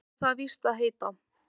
Svo á það víst að heita